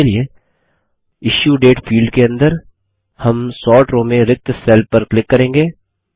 इसके लिएIssuedate फील्ड के अंदर हम सोर्ट रो में रिक्त सेल पर क्लिक करेंगे